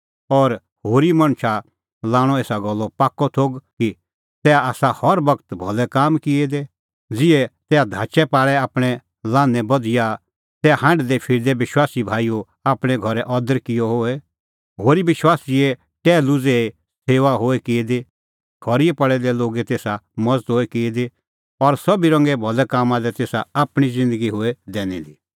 और होरी मणछा लाणअ एसा गल्लो पाक्कअ थोघ कि तैहा आसा हर बगत भलै काम किऐ दै ज़िहै तैहा धाचै पाल़ै आपणैं लान्हैं बधिया तैहा हांढदै फिरदै विश्वासी भाईओ आपणैं घरै अदर किअ होए होरी विश्वासीए टैहलू ज़ेही सेऊआ होए की दी खरी दी पल़ै दै लोगे तेसा मज़त होए की दी और सोभी रंगे भलै कामां लै तेसा आपणीं ज़िन्दगी होए दैनी दी